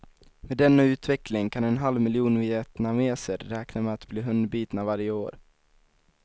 Med denna utveckling kan en halv miljon vietnameser räkna med att bli hundbitna varje år.